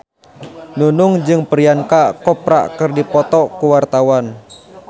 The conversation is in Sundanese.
Nunung jeung Priyanka Chopra keur dipoto ku wartawan